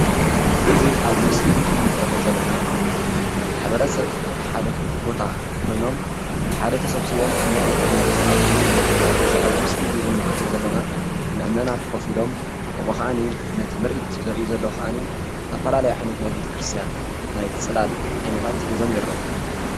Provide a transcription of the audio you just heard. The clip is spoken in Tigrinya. እዚ ኣብዚ ምስሊ ኣዚ እንምልከቶ ዘለና ማሕበረ ሰብ ናይ ሓደ ቦታ ኮይኖም ብሓደ ተሰብሲቦም ምርኢት እናተካታተሉ የርኢ። ከም እዚ ኣብዚ ምስሊ እዚ እንምልከቶ ዘለና ምእመናት ኮፍ ኢሎም ከምኡ ከዓኒ ነቲ ምርኢት ዘርኢ ዘሎ ከዓኒ ዝተፈላለየ ዓይነት ናይ ቤተ ክርስትያን ናይ ፅላል ዓይነታት ሒዞም ይረኣዩ።